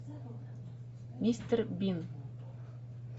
мистер бин